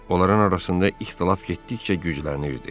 Onların arasında ixtilaf getdikcə güclənirdi.